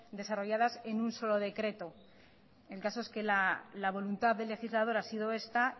desarrolladas en un solo decreto el caso es que la voluntad del legislador ha sido esta